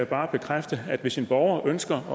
bare bekræfte at hvis en borger ønsker at